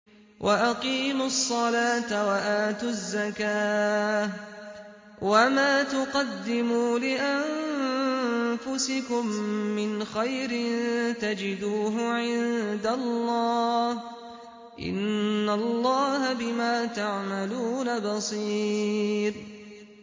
وَأَقِيمُوا الصَّلَاةَ وَآتُوا الزَّكَاةَ ۚ وَمَا تُقَدِّمُوا لِأَنفُسِكُم مِّنْ خَيْرٍ تَجِدُوهُ عِندَ اللَّهِ ۗ إِنَّ اللَّهَ بِمَا تَعْمَلُونَ بَصِيرٌ